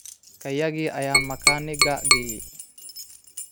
Kayagii ayaan makaanigga geeyey.